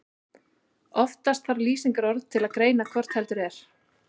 Oftast þarf lýsingarorð til að greina hvort heldur er.